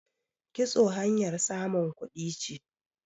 kitso hanyar samun kuɗi ce